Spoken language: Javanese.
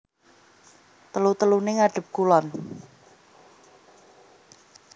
Telu teluné ngadhep kulon